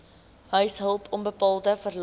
huishulp onbetaalde verlof